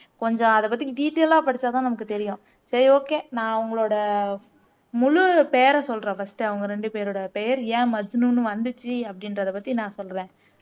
கொஞ்சம் அத பத்தி டீடெயிலா படிச்சாதான் நமக்கு தெரியும் சரி ஓகே நான் உங்களோட முழு பெயரை சொல்றேன் ஃபர்ஸ்ட் அவங்க ரெண்டு பேரொட பெயர் ஏன் மஜ்னுன்னு வந்திச்சு அப்படின்றத பத்தி நான் சொல்றேன்